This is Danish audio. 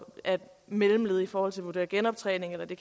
er mellemled i forhold til at vurdere genoptræning eller at det